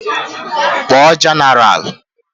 Kpọọ jenaral!